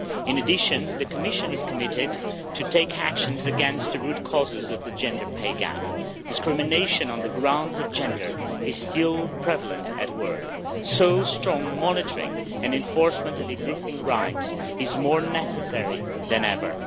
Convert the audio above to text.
In addition, the Commission is committed to taking action against the root causes of the gender pay gap. Discrimination on the grounds of gender is still prevalent at work, so strong monitoring and enforcement of existing rights is more necessary than ever.